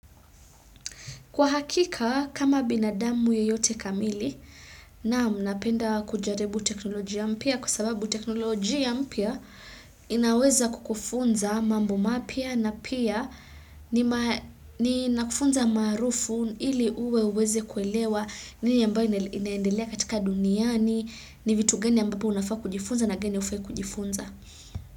Kwa hakika kama binadamu yeyote kamili naam napenda kujaribu teknolojia mpya kwa sababu teknolojia mpya inaweza kukufunza mambo mapya na pia ni nakufunza maarufu ili uwe uweze kuelewa nini ambayo inaendelea katika duniani ni vitu gani ambapo unafaa kujifunza na gani hufai kujifunza.